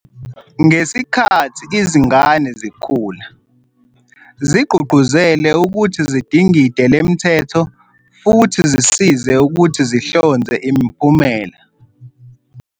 Ngesikhathi izingane zikhula, zigqugquzele ukuthi zidingide lemithetho futhi zisize ukuthi zihlonze imiphumela.